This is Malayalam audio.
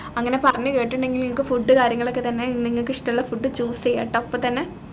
അങ്ങനെ പറഞ്ഞു കെട്ടിട്ടുണ്ടെങ്കിൽ നിങ്ങക്ക് food ഉ കാര്യങ്ങളൊക്കെ തന്നെ നിങ്ങക്ക് ഇഷ്ടള്ള food choose ചെയ്യാട്ടോ ഇപ്പൊ തന്നെ